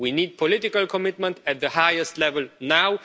We need political commitment at the highest level now.